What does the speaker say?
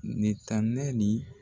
Ni tan ne ni